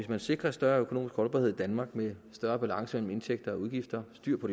vi sikrer større økonomisk holdbarhed i danmark med større balance mellem indtægter og udgifter og styr på